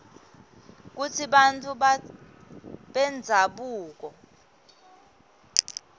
kutsi bantfu bendzabuko